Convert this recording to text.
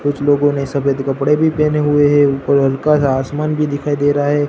कुछ लोगों ने सफेद कपड़े भी पहने हुए हैं ऊपर हल्का सा आसमान भी दिखाई दे रहा है।